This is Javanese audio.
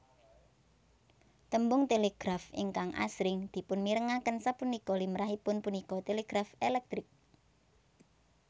Tembung télégraf ingkang asring dipunmirengaken sapunika limrahipun punika télégraf èlèktrik